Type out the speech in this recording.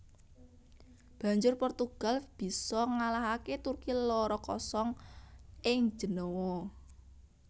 Banjur Portugal bisa ngalahaké Turki loro kosong ing Jenéwa